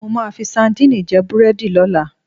Mo máa fi sadíìnì jẹ́ búrẹ́dì lọ́la.